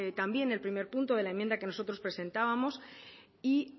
también el punto uno de la enmienda que nosotros presentábamos y